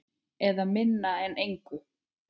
Eða minna en engu.